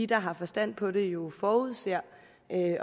der har forstand på det jo forudsætter